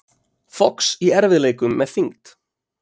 Fox í erfiðleikum með þyngd